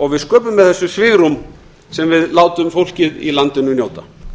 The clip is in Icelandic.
og við sköpum með þessu svigrúm sem við látum fólkið í landinu njóta